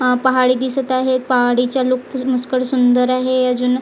अह पहाडी दिसत आहे पहाडीच्या सुंदर आहे अजून--